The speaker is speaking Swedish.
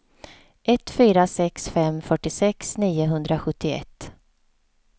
ett fyra sex fem fyrtiosex niohundrasjuttioett